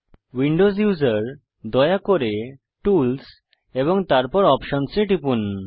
Windows user দয়া করে tools এবং তারপর অপশনস এ টিপুন